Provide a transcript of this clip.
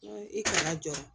I kana jɔ